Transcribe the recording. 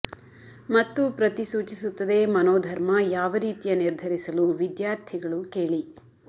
ಮತ್ತು ಪ್ರತಿ ಸೂಚಿಸುತ್ತದೆ ಮನೋಧರ್ಮ ಯಾವ ರೀತಿಯ ನಿರ್ಧರಿಸಲು ವಿದ್ಯಾರ್ಥಿಗಳು ಕೇಳಿ